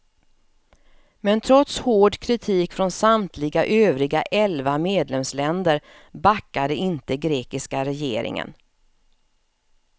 Men trots hård kritik från samtliga övriga elva medlemsländer backade inte grekiska regeringen.